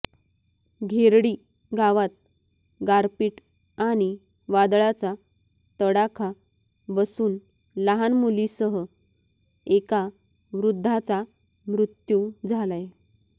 घेरडी गावात गारपीट आणि वादळाचा तडाखा बसून लहान मुलीसह एका वृद्धाचा मृत्यू झालाय